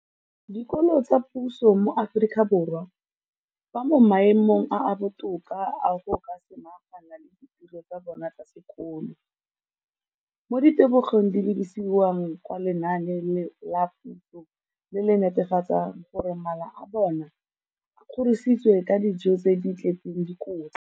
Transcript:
Dikolo tsa puso mo Aforika Borwa ba mo maemong a a botoka a go ka samagana le ditiro tsa bona tsa sekolo, mme ditebogo di lebisiwa kwa lenaaneng la puso le le netefatsang gore mala a bona a kgorisitswe ka dijo tse di tletseng dikotla.